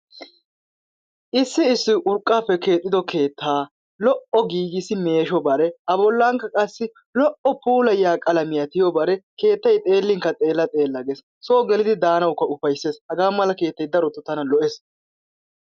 Issi issi urqqaappe keexxiddo keettaa lo"o giggissi meeshshobare a bollankka qassi lo"o puulayiya qalamiya tiyobare keettay xeelinkka xeella xeella gees. Soo gelidi daanawukka ufayssees hagaa mala keettay darotoo tana lo'ees